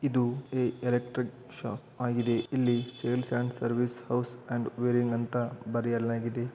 ಇದು electric shop ಆಗಿದೆ ಇಲ್ಲಿ sales and service house and wiring ಅಂತ ಬರಿಯಲಾಗಿದೆ.